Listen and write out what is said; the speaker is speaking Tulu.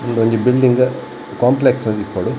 ಉಂದು ಒಂಜಿ ಬಿಲ್ಡಿಂಗ್ ಕಾಂಪ್ಲೆಕ್ಸ್ ಒಂಜಿ ಇಪ್ಪೊಡು.